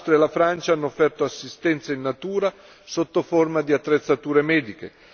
L'Austria e la Francia hanno offerto assistenza in natura sotto forma di attrezzature mediche.